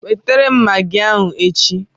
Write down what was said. Wetara m Magị ahụ echi!